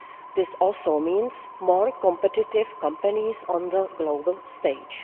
This also means more competitive companies on the global stage.